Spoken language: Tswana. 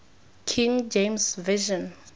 king james version